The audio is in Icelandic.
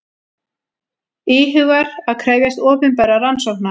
Íhugar að krefjast opinberrar rannsóknar